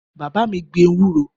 Bàbá mi gbin ewúro